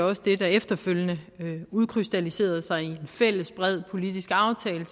også det der efterfølgende udkrystalliserede sig i en fælles bred politisk aftale